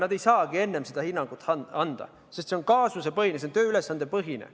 Nad ei saagi enne seda hinnangut anda, sest see on kaasusepõhine, see on tööülesandepõhine.